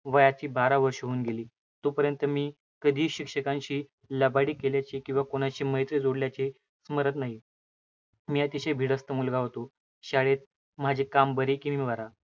वयाला बारा वर्षे होऊन गेली. तोपर्यंत मी कधीही शिक्षकांशी लबाडी केल्याचे किंवा कोणाशी मैत्री जोडल्याचे स्मरत नाही. मी अतिशय भिडस्त मुलगा होतो. शाळेत माझे काम बरे की मी बरा